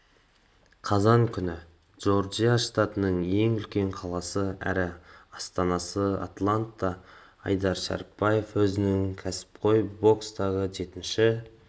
қазан күні джорджия штатының ең үлкен қаласы әрі астанасы атлантта айдар шәрібаев өзінің кәсіпқой бокстағы жетінші